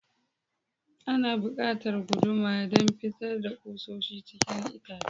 Ana buƙatar guduma don fitar da kusoshi cikin itace.